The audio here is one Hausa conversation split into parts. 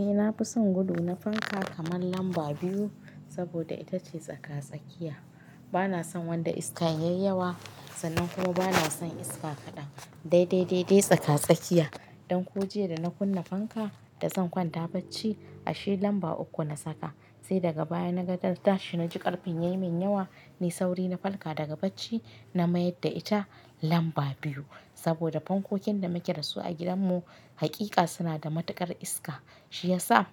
Eh na fi son gudu na fanka kaman lamba biyu, saboda ita ce tsaka-tsakiya. Bana son wanda iska yayi yawa, sannan kuma bana son iska kaɗan. Dai dai dai tsaka-tsakiya. Don kuwa jiya da na kunna fanka da zan kwanta bacci, ashe lamba uku na saka. Sai daga baya na ga darta shi na ji ƙarfin yayi min yawa, na yi sauri na falka daga bacci, na mayar da ita lamba biyu. Saboda fankokin da muke dasu a gidanmu, haƙiƙa suna da matuƙar iska. Shi ya sa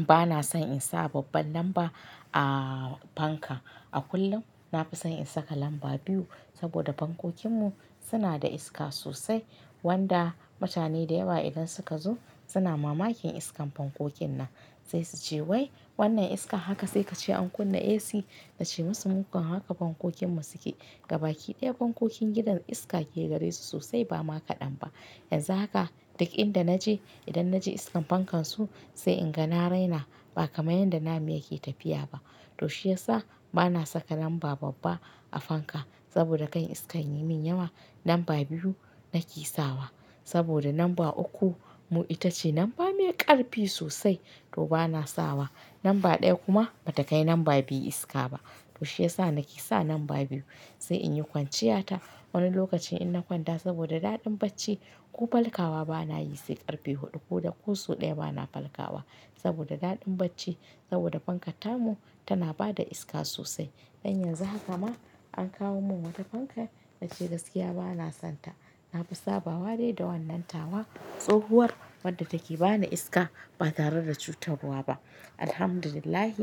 bana son in sa babban lamba a fanka. A kullum na fi son in saka lamba biyu, saboda fankokinmu suna da iska sosai. Wanda mutane da yawa idan suka zo suna mamakin iskan fankokin nan. Sai su ce "wai wannan iska?" Haka sai ka ce an kunna AC. Na ce musu "mukan haka fankokinmu suke gabaki ɗaya." Fankokin gidan iska ke gare su sosai ba ma kaɗan ba. Yanzu haka dukin da na je, idan na je iskar fankan su sai in ga na raina, ba kamar yadda na muya ke tafiya ba. To shi ya sa bana saka lamba babba a fanka saboda kar iskan yayi min yawa. Lamba biyu nake sawa saboda lamba uku mu ita ce lamba mai ƙarfi sosai, to bana sawa. Lamba ɗaya kuma bata kai lamba biyu iska ba. To shi ya sa nake sa lamba biyu sai in yi kwanciyata. Wani lokacin in na kwanta saboda daɗin bacci, ko falkawa bana yi sai ƙarfe huɗu. Ko da kosau ɗaya bana falkawa saboda daɗin bacci. Saboda fankar tamu tana bada iska sosai. Don yanzu haka ma an kawo min wata fanka na ce gaskiya bana son ta. Na fi saba wa dai da wannan tawa. Tsohuwar wadda take bani iska ba tare da cutarwa ba. Alhamdulillah,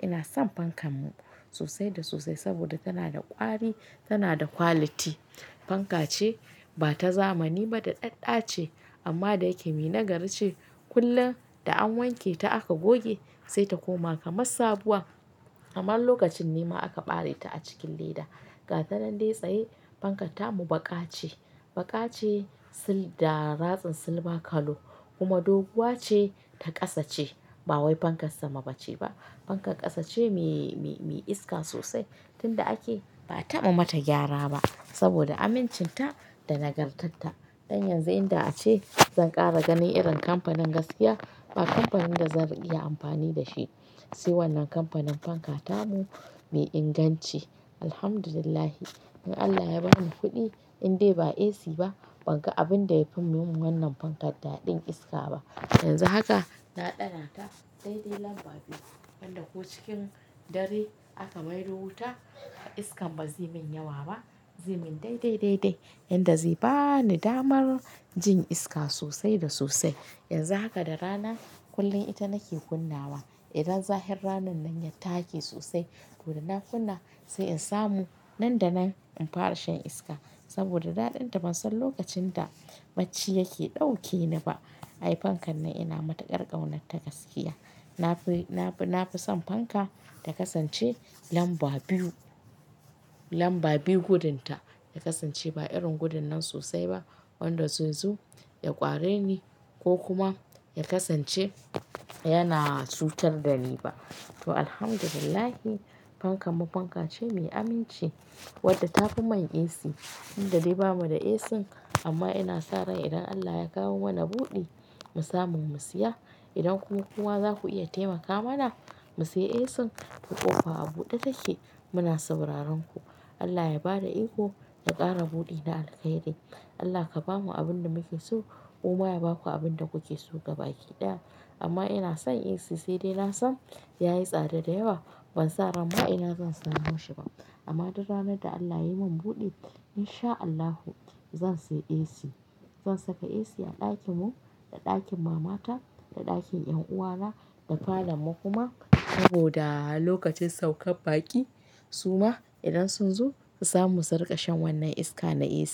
ina son fankanmu sosai da sosai saboda tana da ƙwari, tana da quality. Fanka ce ba ta zamani ba da ɗaɗɗace, amma dai yake mai nagari ce. Kullum da an wanke ta aka goge sai ta koma kamar sabuwa. Kaman lokacin nema aka ɓare ta a cikin leda. Ga tanan dai tsaye. Fankar tamu baƙa ce. Baƙa ce da ratsin silba kallo. Kuma doguwa ce ta ƙasa ce. Ba wai fankar sama ba ce ba. Fankar ƙasa ce mai-mai iska sosai. Tun da ake ba a taɓa mata gyara ba saboda amincinta da nagartarta. Don yanzu inda ace zan ƙara ganin irin kamfanin gaskiya ba kamfanin da zan iya amfani da shi. Sai wannan kamfanin fankar tamu mai inganci. Alhamdulillah, idan Allah ya bani kuɗi, in dai ba AC ba banga abin da ya fi mun wannan fankar daɗin iska ba. Yanzu haka na ɗana ta dai dai lamba biyu. Wanda ko cikin dare aka maido wuta, iskan bazai min yawa ba. Zai min dai dai dai yadda zai bani damar jin iska sosai da sosai. Yanzu haka da rana kullum ita nake kunna wa. Idan zahin ranan nan ya take sosai, toda na kunna sai in samu. Nan da nan in fara shan iska saboda daɗinta. Ban son lokacin da bacci yake ɗauke ni ba. Ai fankan nan ina matuƙar ƙaunarta gaskiya. Na fi-na fi son fanka ta kasance lamba biyu. Lamba biyu gudunta ya kasance ba irin gudunnan sosai ba. Wanda zaizo ya ƙware ni ko kuma ya ƙasance yana cutar da ni ba. To Alhamdulillah, fankanmu fanka ce mai aminci wadda ta fi mai AC. Tun da dai bamu da AC, amma ina sa ran idan Allah ya kawo mana buɗi mu samu mu siya, idan ku kuma za ku iya taimaka mana mu siya AC, to ƙofa a buɗe take muna sauraron ku. Allah ya bada iko ku ƙara buɗi na alkhairi. Allah ka ba mu abin da muke so, kuma ya ba ku abin da kuke so gabaki ɗaya. Amma ina son AC sai dai na san yayi tsada da yawa. Ban sa ran ma ina zan samo shi ba. Amma duk ranar da Allah yayi min buɗi, in sha Allahu zan siya AC. Zan saka AC a ɗakinmu, da ɗakin mama ta, da ɗakin ƴan uwa na, da falon mu kuma. Saboda lokacin saukar baƙi suma idan sun zo su samu suriƙa shan wannan iska na AC.